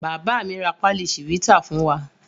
Bàbá mi ra pálí Chivita fún wa.